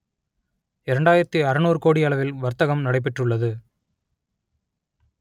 இரண்டாயிரத்தி அறுநூறு கோடி அளவில் வர்த்தகம் நடை பெற்றுள்ளது